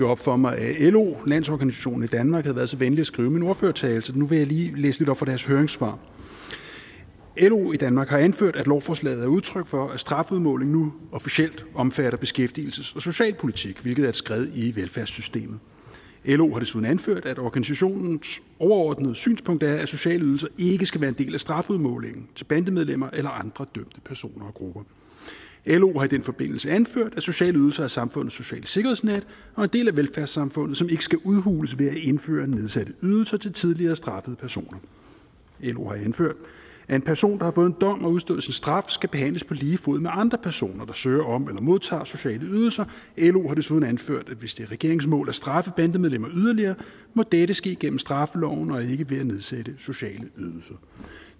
op for mig at lo landsorganisationen i danmark havde været så venlig at skrive min ordførertale så nu vil jeg lige læse lidt op fra deres høringssvar lo i danmark har anført at lovforslaget er udtryk for at strafudmålingen nu officielt omfatter beskæftigelses og socialpolitik hvilket er et skred i velfærdssystemet lo har desuden anført at organisationens overordnede synspunkt er at sociale ydelser ikke skal være en del af strafudmålingen til bandemedlemmer eller andre dømte personer og grupper lo har i den forbindelse anført at sociale ydelser er samfundets sociale sikkerhedsnet og en del af velfærdssamfundet som ikke skal udhules ved at indføre nedsatte ydelser til tidligere straffede personer lo har anført at en person der har fået en dom og udstået sin straf skal behandles på lige fod med andre personer der søger om eller modtager sociale ydelser lo har desuden anført at hvis det er regeringens mål at straffe bandemedlemmer yderligere må dette ske igennem straffeloven og ikke ved at nedsætte sociale ydelser